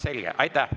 Selge, aitäh!